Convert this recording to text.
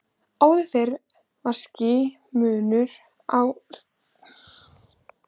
Áður fyrr var skýr munur á Reykjanesi og Suðurnesjum.